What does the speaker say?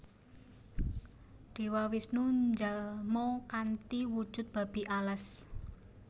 Dewa Wisnu njalma kanthi wujud Babi Alas